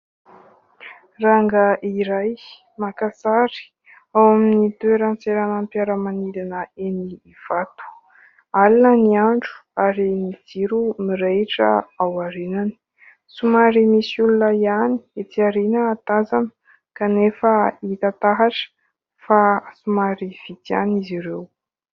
Rangahy iray maka sary ao amin'ny toeran-tseranam-piaramanidina eny Ivato. Alina ny andro ary ny jiro mirehitra ao aoriany. Somary misy olona ihany etsy aoriana tazana, kanefa hita taratra fa somary vitsy ihany izy ireo.